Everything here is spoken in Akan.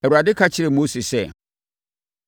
Awurade ka kyerɛɛ Mose sɛ,